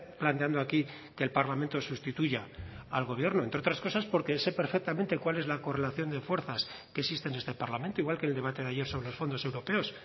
planteando aquí que el parlamento sustituya al gobierno entre otras cosas porque sé perfectamente cuál es la correlación de fuerzas que existe en este parlamento igual que el debate de ayer sobre fondos europeos